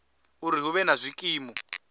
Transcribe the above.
uri hu vhe na zwikimu